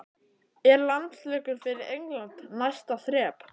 Er landsleikur fyrir England næsta þrep?